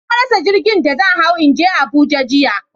Na rasa jirgin da zan hawo in je Abuja jiya.